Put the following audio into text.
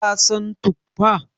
ka San tuffa?